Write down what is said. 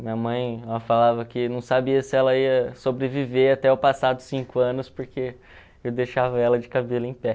Minha mãe, ela falava que não sabia se ela ia sobreviver até eu passar dos cinco anos, porque eu deixava ela de cabelo em pé.